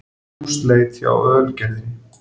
Húsleit hjá Ölgerðinni